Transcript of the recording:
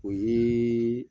O yee